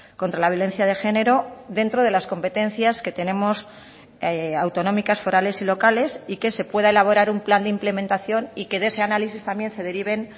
contra la violencia de género dentro de las competencias que tenemos autonómicas forales y locales y que se pueda elaborar un plan de implementación y que de ese análisis también se deriven